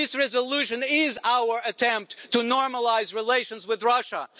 This resolution is our attempt to normalise relations with Russia.